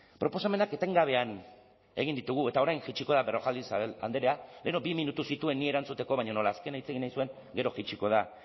proposamenak etengabean egin ditugu eta orain jaitsiko da berrojalbid andrea lehenago bi minutu zituen niri erantzuteko baina nola azkena hitz egin nahi zuen gero jaitsiko da